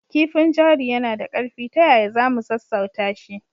Kifin jari yana da ƙarfi. Ta yaya za mu sassauta shi?